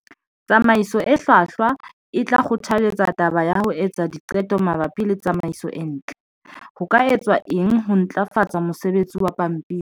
Tsamaiso e hlwahlwa e tla kgothaletsa taba ya ho etsa diqeto mabapi le tsamaiso e ntle. Ho ka etswa eng ho ntlafatsa mosebetsi wa pampiri?